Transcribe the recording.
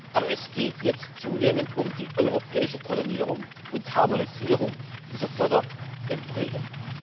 Aber es geht jetzt zunehmend um die europäische Koordinierung und Harmonisierung dieser Förderregeln.